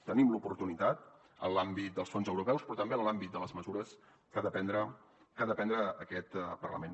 tenim l’oportunitat en l’àmbit dels fons europeus però també en l’àmbit de les mesures que ha de prendre aquest parlament